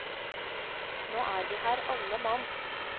Nå er vi her alle mann.